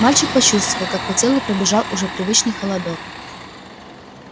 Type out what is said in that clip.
мальчик почувствовал как по телу пробежал уже привычный холодок